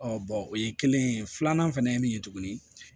o ye kelen ye filanan fɛnɛ ye min ye tuguni